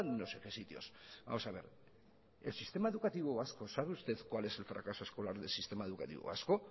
y no sé de qué sitios sabe usted cuál es el fracaso escolar del sistema educativo vasco